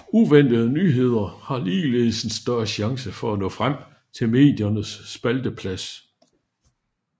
Uventede nyheder har ligeledes en større chance for at nå frem til mediernes spalteplads